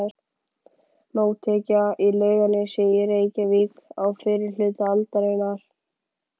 Mótekja í Laugarnesi í Reykjavík á fyrri hluta aldarinnar.